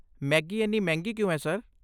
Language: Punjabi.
ਮੈਗੀ ਇੰਨੀ ਮਹਿੰਗੀ ਕਿਉਂ ਹੈ ਸਰ?